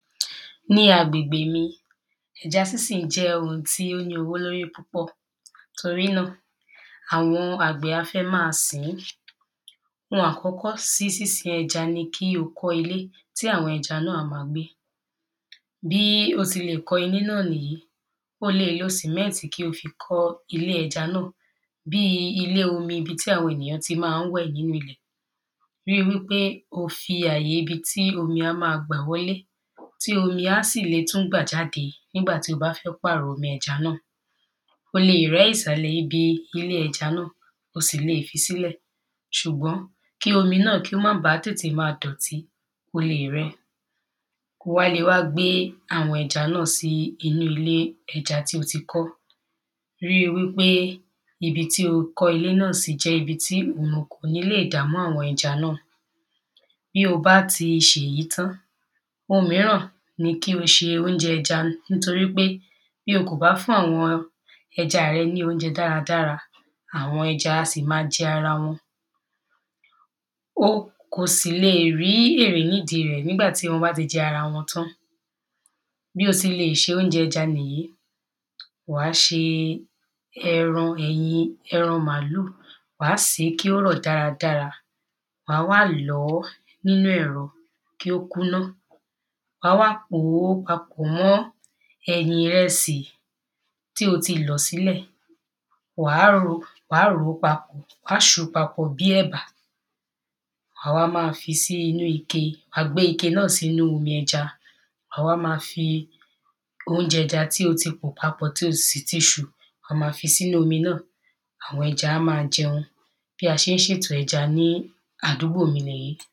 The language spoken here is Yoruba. Ní agbègbè mi, ẹja sísìn jẹ́ oun tí ó ní owó lórí púpọ̀, torí nà, àwọn àgbẹ̀ á fẹ́ ma sǐn, oun àkọ́kọ́ sí sísin ẹja ni kíkọ́ ilé tí àwọn ẹja nà, á ma gbé, bí o ti lè kọ́ ilé nà nì yí, o lè lo cement kí o fi kọ́ ilé ẹja nà. Bí ilé omi, ibi tí àwọn èyàn tí má ń wẹ̀ nínú ilẹ̀, ri wípé o fi àye ibi tí omí ma gbà wọlé, tí omi á sì le tún gbà jáde nígbà tí o bá fẹ́ pàrọ omi ẹja nà. O lè rẹ́ ìsàlẹ̀ ibi ilé ẹja nà, o sì le fi sílẹ̀, ṣùgbọ́n, kí omi nà kó má ba tètè ma dọ̀tí, o lè rẹ. O wá le wá gbé àwọn ẹja náà sí inú ile ẹja tí o ti kọ́, ri wípé ibi tí o kọ́ ilé ẹja nà sí jẹ́ ibi tí ọ̀nà ò ní lè dà pọ̀ mọ́ àwọn ẹja nà. Bi o bá ti ṣèyí tán,, oun míràn ni kí o ṣe oúnjẹ ẹja nítorí pé, bí o kò bá fún àwọn ẹja rẹ ní oúnjẹ dáradára, àwọn ẹja a sì ma jẹ ara wọn, o kò sì le rí èrè ní di rẹ̀, nígbàtí wọ́n bá ti jẹ ara wọn tán. Bí o sì le ṣe oúnjẹ ẹja nì yí, wàá ṣe ẹran, ẹyin, ẹran màálu, wà sè é kí ó rọ̀ dáradára, wà wá lọ̀ọ́ nínú ẹ̀rọ, kí ó kúná, wà wá pòó papọ̀ mọ́ ẹ̀yìn rẹsì tí o ti lọ̀ sílẹ̀, wà ròó papọ̀, wà sùú papọ̀ bí ẹ̀bà, wà wá ma fi sí inú ike, wà gbé ike nà sínu omi ẹja, wà wá ma fi oúnjẹ eja tí o ti pò papọ̀, tí o sì ti sù, wà má fi sí inú omi nà, àwọn eja ma jẹun, bí a ṣe ń ṣètò ẹja ní àdúgbò mi nì yí.